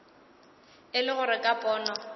e le gore ka pono